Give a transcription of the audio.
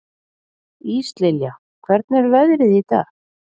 Íslilja, hvernig er veðrið í dag?